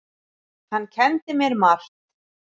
Hann kenndi mér margt.